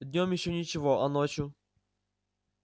днём ещё ничего а ночью